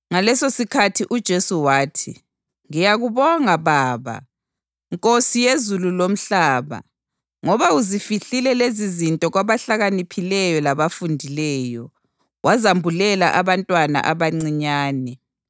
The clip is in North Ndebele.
Ngalesosikhathi uJesu wathi, “Ngiyakubonga Baba, Nkosi yezulu lomhlaba ngoba uzifihlile lezizinto kwabahlakaniphileyo labafundileyo, wazambulela abantwana abancinyane.